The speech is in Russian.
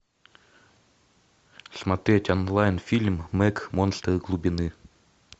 смотреть онлайн фильм мег монстр глубины